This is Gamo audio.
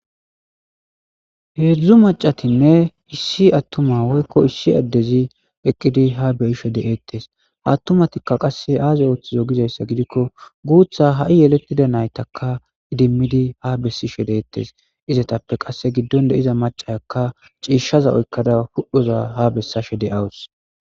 Heedzdzu macatinne hissi attuma woykko issi addezi eqqidi ha beyishe de'eettes attumatikka qasse aaze ooththizo gizayssa gidikko guutha ha'i yelettida naytaka idimmidi ha bessi she deettes izetappe qasse giddon de iza macakka ciishaza oykkada pudhoza ha bessashe de'awus.